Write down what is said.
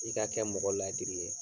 I ka kɛ mɔgɔ la laadiri ye.